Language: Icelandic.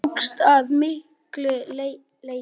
Það sé ykkur til fæðu.